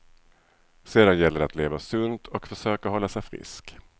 Sedan gäller det att leva sunt och försöka hålla sig frisk.